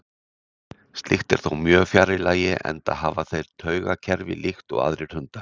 Slíkt er þó mjög fjarri lagi enda hafa þeir taugakerfi líkt og aðrir hundar.